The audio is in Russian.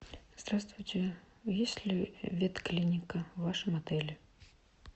здравствуйте есть ли ветклиника в вашем отеле